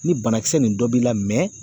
Ni banakisɛ nin dɔ b'i la mɛ